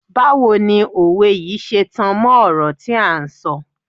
Báwo ni òwe yìí ṣe tan mọ́ ọ̀rọ̀ tí à ń sọ.